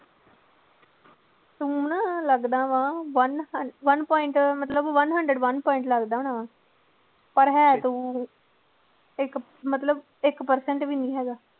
ਤੂੰ ਨਾ ਲੱਗਦਾ ਵਾਂ one ਹੰ one point ਮਤਲਬ one hundred one point ਲੱਗਦਾ ਹੋਣਾ ਵਾਂ, ਪਰ ਹੈ ਤੂੰ ਇੱਕ ਮਤਲਬ ਇੱਕ percent ਵੀ ਨੀ ਹੈਗਾ।